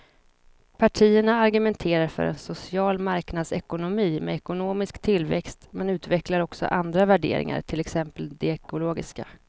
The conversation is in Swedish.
Partierna argumenterar för en social marknadsekonomi med ekonomisk tillväxt men utvecklar också andra värderingar, till exempel de ekologiska.